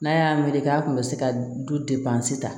N'a y'a wele k'a kun bɛ se ka dusu ta